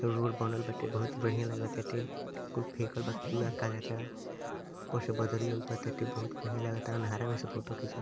Road बनल बाटे बहुत बढ़ियां लाग ताटे। कुल फेकल बा कूड़ा कजाचड़ा । ऊपर से बदरी लउकताटे बाते बहुत बढ़ियां लगता। अन्हारा में से फोटो खींच --